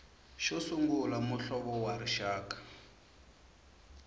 xo sungula muhlovo wa rixaka